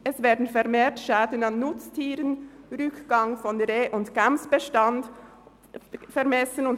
Es wären vermehrt Schäden an Nutztieren und ein Rückgang des Reh- und Gämsbestands festgestellt worden.